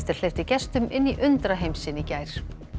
hleypti gestum inn í undraheim sinn í gær